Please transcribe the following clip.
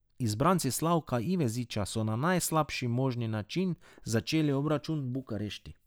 Izbranci Slavka Iveziča so na najslabši možni način začeli obračun v Bukarešti.